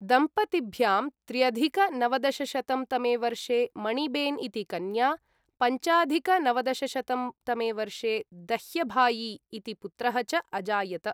दम्पतिभ्यां त्र्यधिक नवदशशतं तमे वर्षे मणिबेन् इति कन्या, पञ्चाधिक नवदशशतं तमे वर्षे दह्यभायि इति पुत्रः च अजायत।